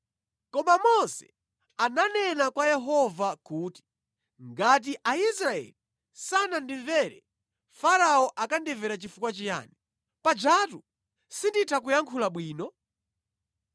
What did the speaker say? Koma Mose ananena kwa Yehova kuti, “Ngati Aisraeli sanandimvere, Farao akandimvera chifukwa chiyani, pajatu sinditha kuyankhula bwino?”